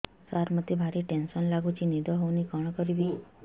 ସାର ମତେ ଭାରି ଟେନ୍ସନ୍ ଲାଗୁଚି ନିଦ ହଉନି କଣ କରିବି